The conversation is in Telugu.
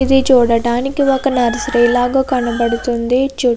ఇది చూడటానికి ఒక నర్చేరి లాగా మనకు కనపడుతునది. చుటూ --